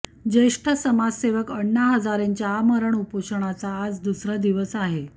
ज्येष्ठ समाजसेवक अण्णा हजारेंच्या आमरण उपोषणाचा आज दुसरा दिवस आहे